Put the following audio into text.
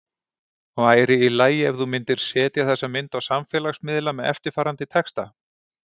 Væri í lagi ef þú myndir setja þessa mynd á samfélagsmiðla með eftirfarandi texta?